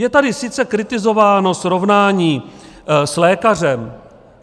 Je tady sice kritizováno srovnání s lékařem.